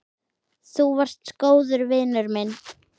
Þú varst góður vinur minn.